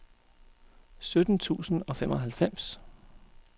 sytten tusind og femoghalvfems